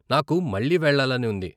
నాకు మళ్ళీ వెళ్లాలని ఉంది.